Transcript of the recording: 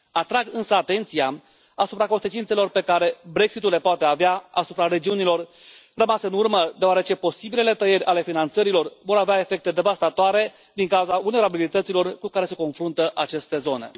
Atrag însă atenția asupra consecințelor pe care Brexit ul le poate avea asupra regiunilor rămase în urmă, deoarece posibilele tăieri ale finanțărilor vor avea efecte devastatoare din cauza vulnerabilităților cu care se confruntă aceste zone.